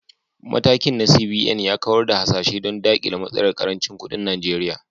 Matakin na CBN ya kawar da hasashe don dakile matsalar karancin kudin Najeriya.